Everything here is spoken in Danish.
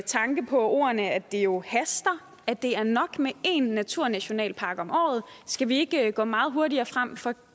tanke på ordene at det jo haster at det er nok med en naturnationalpark om året skal vi ikke gå meget hurtigere frem for